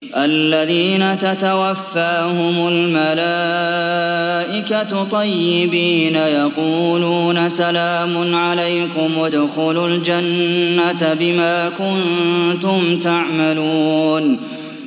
الَّذِينَ تَتَوَفَّاهُمُ الْمَلَائِكَةُ طَيِّبِينَ ۙ يَقُولُونَ سَلَامٌ عَلَيْكُمُ ادْخُلُوا الْجَنَّةَ بِمَا كُنتُمْ تَعْمَلُونَ